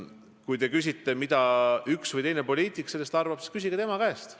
Kui te küsite, mida üks või teine poliitik sellest arvab, siis küsige tema käest.